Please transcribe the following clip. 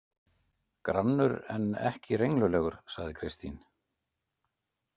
Grannur en ekki renglulegur, sagði Kristín.